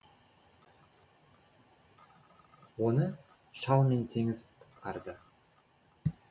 оны шал мен теңіз құтқарды